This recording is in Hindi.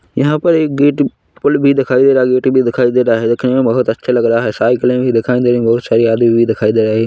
यहाँ पर एक गेट पुल भी दिखाई दे रहा गेट भी दिखाई दे रहा है देखने बहुत अच्छा लग रहा है साइकिलें भी दिखाई दे रही बहुत सारी आदमी भी दिखाई दे रहे--